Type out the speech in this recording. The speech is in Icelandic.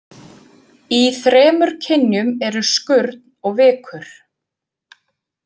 Í þremur kynjum eru skurn og vikur.